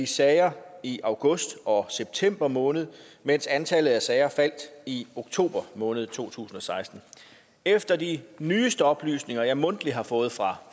sager i august og september måned mens antallet af sager faldt i oktober måned to tusind og seksten efter de nyeste oplysninger som jeg mundtligt har fået fra